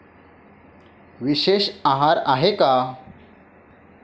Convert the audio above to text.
विशेष आहार आहे का?